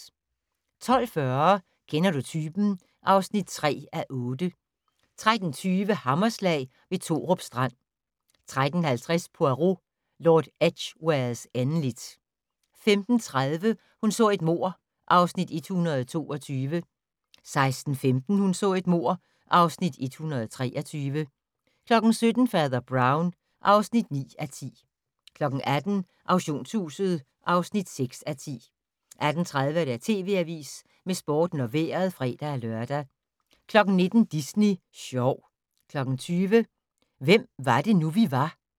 12:40: Kender du typen? (3:8) 13:20: Hammerslag ved Torup strand 13:50: Poirot: Lord Edgwares endeligt 15:30: Hun så et mord (Afs. 122) 16:15: Hun så et mord (Afs. 123) 17:00: Fader Brown (9:10) 18:00: Auktionshuset (6:10) 18:30: TV Avisen med Sporten og Vejret (fre-lør) 19:00: Disney sjov 20:00: Hvem var det nu, vi var?